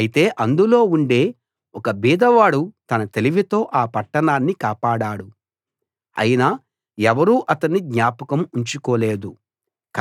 అయితే అందులో ఉండే ఒక బీదవాడు తన తెలివితో ఆ పట్టణాన్ని కాపాడాడు అయినా ఎవరూ అతణ్ణి జ్ఞాపకం ఉంచుకోలేదు